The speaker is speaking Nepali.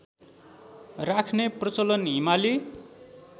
राख्ने प्रचलन हिमाली